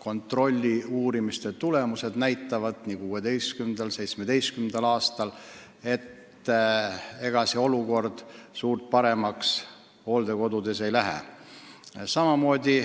kontrollitulemused nii 2016. kui ka 2017. aastal näitavad, et olukord hooldekodudes suurt paremaks läinud ei ole.